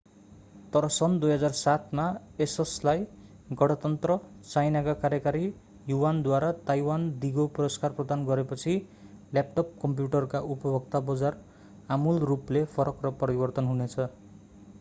तर सन् 2007 मा asusलाई गणतन्त्र चाइनाका कार्यकारी युआनद्वारा ताईवान दीगो पुरस्कार प्रदान गरेपछि ल्यापटप कम्प्युटरका उपभोक्ता बजार आमूल रूपले फरक र परिवर्तन हुनेछ।